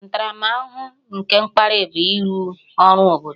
Ntaramahụhụ nke mkparị bụ ịrụ ọrụ obodo